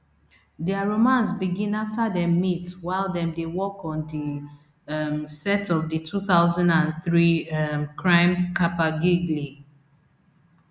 dia romance begin after dem meet while dem dey work on di um set of di two thousand and three um crime caper gigli